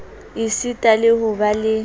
esita le ho ba le